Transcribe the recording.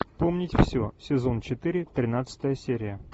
помнить все сезон четыре тринадцатая серия